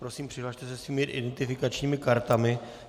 Prosím, přihlaste se svými identifikačními kartami.